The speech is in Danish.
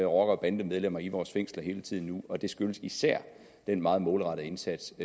rocker og bandemedlemmer i vores fængsler hele tiden nu og det skyldes især den meget målrettede indsats